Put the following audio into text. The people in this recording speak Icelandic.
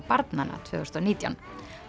barnanna tvö þúsund og nítján